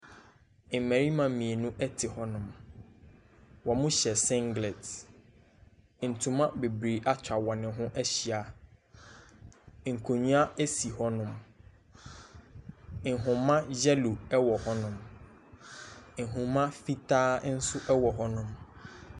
Mmarima mmienu te hɔnom, wɔhyɛ singlet, ntoma bebree atwa wɔn ho ahyia, nkonnwa si hɔnom, nhoma yellow wɔ hɔnom, nhoma fitaa nso wɔ hɔnom.